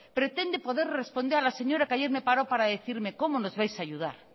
pretende poder responder a la señora que ayer me paró para decirme cómo nos vais a ayudar